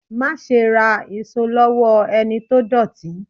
Máa ṣe ra èso lowo ẹni tó dọ̀tí.